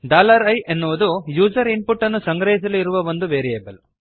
i ಅನ್ನುವುದು user input ಅನ್ನು ಸಂಗ್ರಹಿಸಲು ಇರುವ ಒಂದು ವೇರಿಯೇಬಲ್